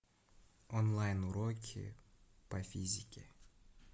онлайн уроки по физике